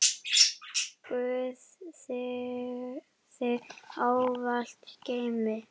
Guð þig ávallt geymi.